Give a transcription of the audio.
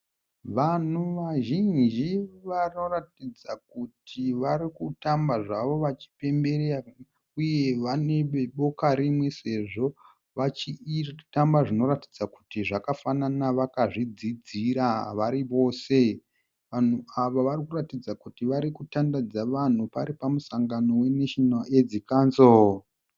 Vanhu vazhinji vanoratidza kuti vari kutamba zvavo vachipemberera uye vari veboka rimwe sezvo vachitamba zvinoratidza kuti zvakafanana vakazvidzidzira vari vose. Vanhu ava vari kuratidza kuti vari kutandadza vanhu pari pamusangano we"National Aids Council".